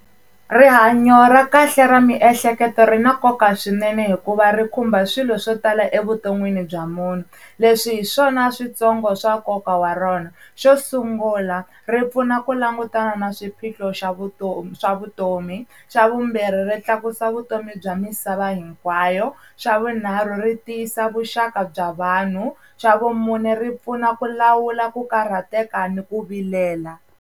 Rihanyo ra kahle ra miehleketo ri na nkoka swinene hikuva ri khumba swilo swo tala evuton'wini bya munhu leswi hi swona switsongo swa nkoka wa rona. Xo sungula ri pfuna ku langutana na swiphiqo xa vutomi swa vutomi. Xa vumbirhi ri tlakusa vutomi bya misava hinkwayo, xa vunharhu ri tiyisa vuxaka bya vanhu, xa vumune ri pfuna ku lawula ku karhateka ni ku vilela.